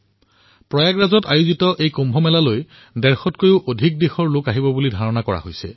প্ৰয়াগৰাজত অনুষ্ঠিত হোৱা এই কুম্ভ মেলাত ১৫০ত কৈও অধিক দেশৰ লোকৰ আগমনৰ আশা কৰা হৈছে